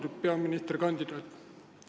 Austatud peaministrikandidaat!